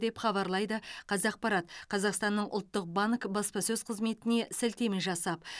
деп хабарлайды қазақпарат қазақстанның ұлттық банкі баспасөз қызметіне сілтеме жасап